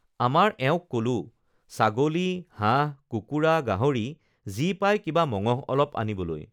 আমাৰ এওঁক কলো ছাগলী হাঁহ কুকুৰা গাহৰি যি পাই কিবা মঙহ অলপ আনিবলৈ